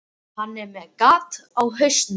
Hann er með gat á hausnum.